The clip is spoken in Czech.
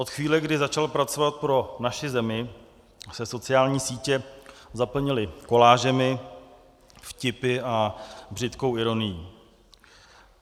Od chvíle, kdy začal pracovat pro naši zemi, se sociální sítě zaplnily kolážemi, vtipy a břitkou ironií.